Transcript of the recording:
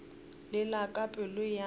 le la ka pelo ya